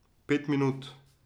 Pet minut.